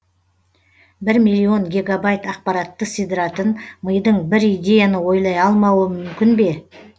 бір миллион гегабайт ақпаратты сидыратын мидың бір идеяны ойлай алмауы мүмкін бе